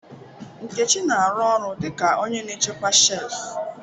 Nkechi na-arụ ọrụ dị ka onye na-echekwa shelf.